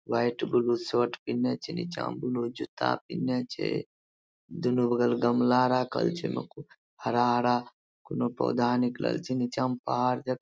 white blue shirt पिन्हले छै | नीचे मे ब्लू जूता पिन्हले छै | दुनो बगल गमला राखल छै हरा हरा कोनो पौधा निकलल छै नीचा मे पहाड़ जाका --